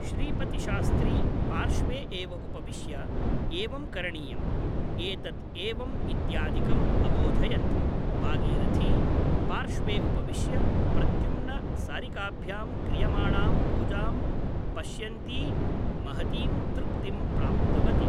श्रीपतिशास्त्री पार्श्वे एव उपविश्य ' एवं करणीयम् , एतत् एवम् इत्यादिकम् अबोधयत् । भागीरथी पार्श्वे उपविश्य प्रद्युम्न सारिकाभ्यां क्रियमाणां पूजां पश्यन्ती महतीं तृप्तिं प्राप्तवती ।